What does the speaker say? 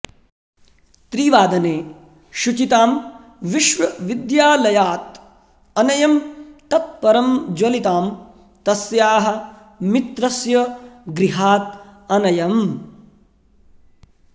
त्रिवादने शुचितां विश्वविद्यालयात् अनयम् तत् परं ज्वलितां तस्याः मित्रस्य गृहात् अनयम्